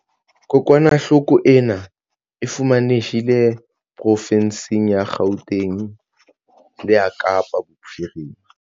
Kokwanahloko ena e fumanehile profensing ya Gauteng le ya Kapa Bophirima.